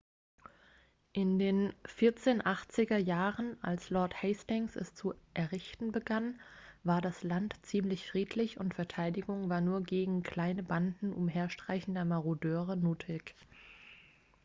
in den 1480er jahren als lord hastings es zu errichten begann war das land ziemlich friedlich und verteidigung war nur gegen kleine banden umherstreichender marodeure nötig